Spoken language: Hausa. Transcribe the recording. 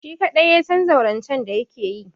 Shi kaɗai ya san zaurancen da yake yi.